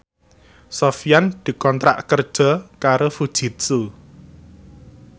Sofyan dikontrak kerja karo Fujitsu